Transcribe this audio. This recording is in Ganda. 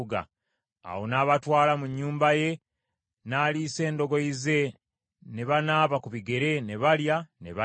Awo n’abatwala mu nnyumba ye, n’aliisa endogoyi ze, ne banaaba ku bigere , ne balya, ne banywa.